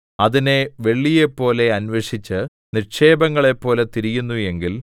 അതിനെ വെള്ളിയെപ്പോലെ അന്വേഷിച്ച് നിക്ഷേപങ്ങളെപ്പോലെ തിരയുന്നു എങ്കിൽ